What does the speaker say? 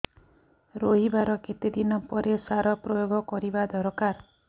ରୋଈବା ର କେତେ ଦିନ ପରେ ସାର ପ୍ରୋୟାଗ କରିବା ଦରକାର